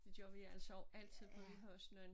Det gør vi altså også altid for vi har også nogen